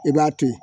I b'a to ye